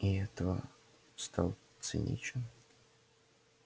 и от этого стал циничен